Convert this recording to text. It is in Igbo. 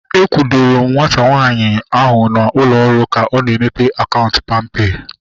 A kwudoro m nwata nwaanyị ahu na ụlọ ọrụ ka ọ na-emepe akaụntụ palmpay